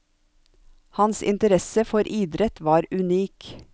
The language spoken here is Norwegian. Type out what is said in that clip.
Hans interesse for idrett var unik.